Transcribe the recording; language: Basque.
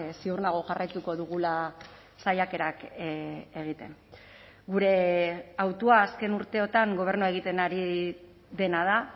ziur nago jarraituko dugula saiakerak egiten gure hautua azken urteotan gobernua egiten ari dena da